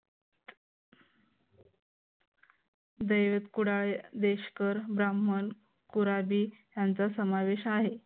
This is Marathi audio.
देवपुराले देशकर ब्राह्मण पुराधी यांचा समावेश आहे.